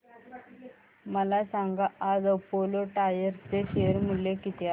मला सांगा आज अपोलो टायर्स चे शेअर मूल्य किती आहे